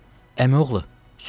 Əmioğlu, sözüm sözdür.